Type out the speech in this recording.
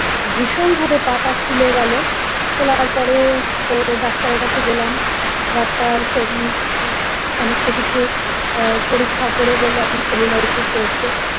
ভীষণভাবে পা টা ফুলে গেল ফোলার পরে তো ডাক্তারের কাছে গেলাম ডাক্তার উম সমস্ত কিছু পরীক্ষা করে বলল আপনার cellulitis হয়েছে।